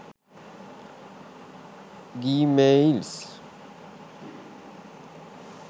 gmails